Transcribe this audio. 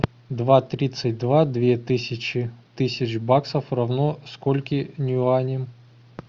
два тридцать два две тысячи тысяч баксов равно скольким юаням